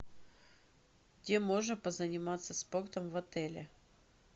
где можно позаниматься спортом в отеле